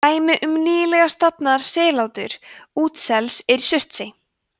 dæmi um nýlega „stofnað“ sellátur útsels er í surtsey